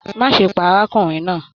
Má ṣe pá arákùnrin náà!